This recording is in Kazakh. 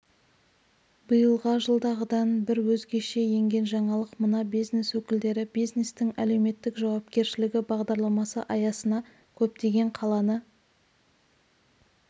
биылға жылдағыдан бір өзгеше енген жаңалық мына бизнес өкілдері бизнестің әлеуметтік жауапкершілігі бағдарламасы аясына көптеген қаланы